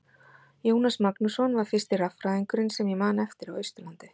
Jónas Magnússon var fyrsti raffræðingurinn sem ég man eftir á Austurlandi.